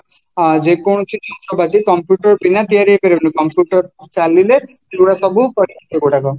ଅଂ ଯେକୌଣସି ଯନ୍ତ୍ରପାତି computer ବିନା ତିଆରି ହେଇପାରିବନି ଭି ଚାଲିଲେ ସେଗୁଡାକ ସବୁ ସେଗୁଡାକ